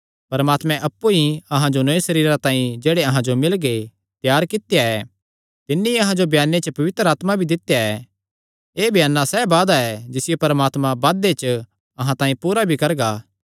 परमात्मे अप्पु ई अहां जो नौये सरीरां तांई जेह्ड़े अहां जो मिलगे त्यार कित्या ऐ तिन्नी अहां जो ब्याने च पवित्र आत्मा भी दित्या ऐ एह़ बयाना सैह़ वादा ऐ जिसियो परमात्मा बादे च अहां तांई पूरा भी करगा